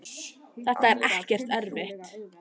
þetta er ekkert erfitt.